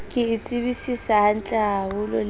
ke e tsebisisa hantlehaholo le